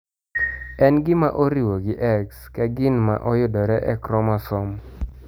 En gima oriwo gi x ka gin ma oyudore e chromosome.